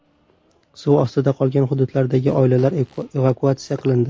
Suv ostida qolgan hududlardagi oilalar evakuatsiya qilindi.